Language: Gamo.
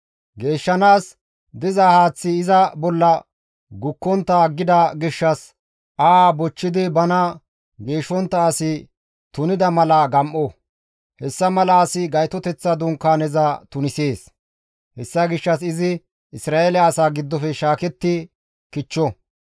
Geeshshanaas diza haaththi iza bolla gukkontta aggida gishshas aha bochchidi bana geeshshontta asi tunida mala gam7o; hessa mala asi Gaytoteththa Dunkaaneza tunisees; hessa gishshas izi Isra7eele asaa giddofe shaaketti kichcho.